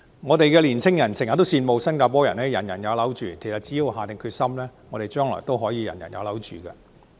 我們的青年人經常羨慕新加坡"人人有樓住"，其實只要政府下定決心，我們將來也可以"人人有樓住"。